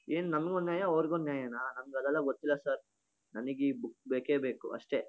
ಏನ್ ನನಗೊಂದ ನ್ಯಾಯ ಅವ್ರಗೊಂದ್ ನ್ಯಾಯನ? ನನಗೆ ಅದೆಲ್ಲಾ ಗೊತ್ತಿಲ್ಲ ಸರ್ . ನನಿಗ್ ಇ ಬುಕ್ ಬೇಕೇ ಬೇಕು ಅಷ್ಟೇ.